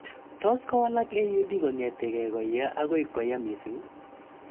Tos kowalak AUD kong'ete ge koya akoi koya missing'